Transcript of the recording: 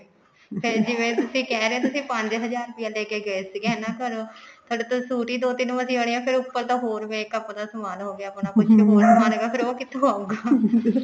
ਫੇਰ ਜਿਵੇਂ ਤੁਸੀਂ ਕਹਿ ਰਹੇ ਹੋ ਤੁਸੀਂ ਪੰਜ ਹਜਾਰ ਰੁਪਿਆ ਲੇਕੇ ਗਏ ਸੀ ਹੈਨਾ ਘਰੋ ਥੋੜੇ ਤਾਂ suit ਹੀ ਦੋ ਤਿੰਨ ਮਸੇ ਆਉਣੇ ਨੇ ਫੇਰ ਉੱਪਰ ਤੋਂ ਹੋਰ makeup ਦਾ ਸਮਾਨ ਹੋ ਗਿਆ ਆਪਣਾ ਫੇਰ ਉਹ ਕਿੱਥੋਂ ਆਉਗਾ